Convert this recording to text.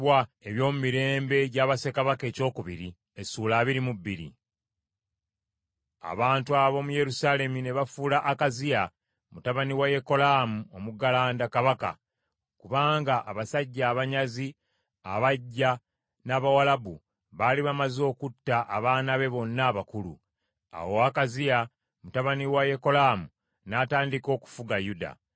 Abantu ab’omu Yerusaalemi ne bafuula Akaziya, mutabani wa Yekolaamu omuggalanda, kabaka, kubanga abasajja abanyazi abajja n’Abawalabu baali bamaze okutta abaana be bonna abakulu. Awo Akaziya mutabani wa Yekolaamu n’atandika okufuga Yuda.